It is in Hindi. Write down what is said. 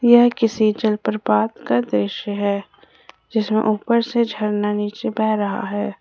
यह किसी जलप्रपात का दृश्य है जिसमें ऊपर से झरना नीचे बह रहा है।